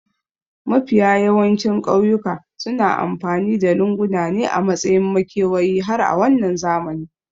Mafiya yawancin ƙauyawa suna amfani da lunguna ne a matsayin makewayi har a wannan zamani